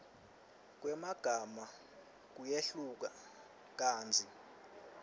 kwemagama kuyehluka kantsi